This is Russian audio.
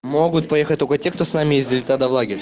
могут поехать только те кто с нами ездили тогда в лагерь